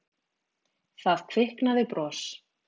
Það kviknaði bros.